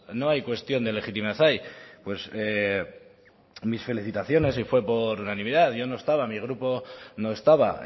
no hay cuestión de legitimidad ahí pues mis felicitaciones y fue por unanimidad yo no estaba mi grupo no estaba